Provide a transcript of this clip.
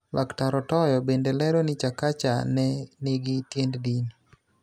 Laktar Otoyo bende lero ni Chakacha ne nigi tiend dini